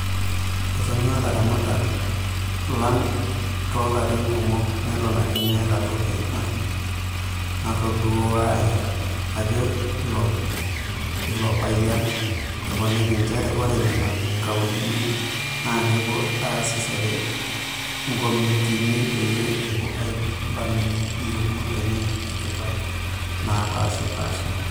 "Etonyua laramatak lang' too larini kumok neton ake meeta toki naitoduaya," ejo ilopayian, eponiki njere ore nena kauntini naakepuo aasishore nkomitiini peyia epuo aibalunye iyieunoto enye e tipat naapashipasha.